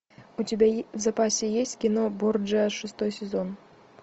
у тебя в запасе есть кино борджиа шестой сезон